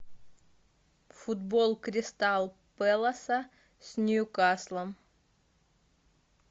футбол кристал пэласа с ньюкаслом